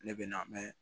Ne bɛ na mɛn